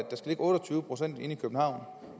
otte og tyve procent inde i københavn